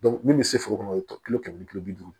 min bɛ se foro kɔnɔ o ye kilo kɛmɛ ni tile bi duuru